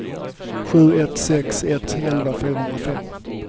sju ett sex ett elva fyrahundrafem